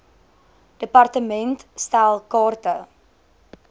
department stel kaarte